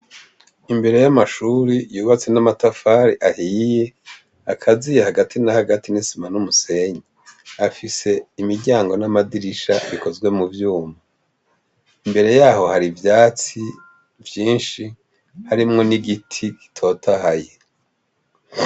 Imbere y'amashuri yubatse n'amatafari ahiye, akaziye hagati na hagati n'isima n'umusenyi afise imiryango n'amadirisha bikozwe mu vyuma. Imbere yaho hari ivyatsi vyinshi harimwo n'igiti gitotahaye.